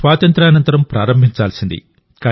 స్వాతంత్య్రానంతరం ప్రారంభించాల్సింది